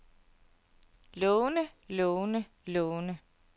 lovende lovende lovende